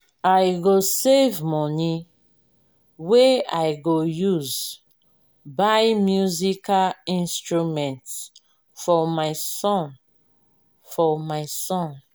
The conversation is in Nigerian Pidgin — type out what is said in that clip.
i go save moni wey i go use buy musical instrument for my son. for my son.